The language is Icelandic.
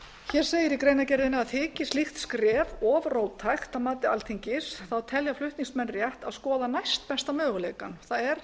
hér segir í greinargerðinni þyki slíkt skref of róttækt að mati alþingis telja flutningsmenn rétt að skoða næstbesta möguleikann það er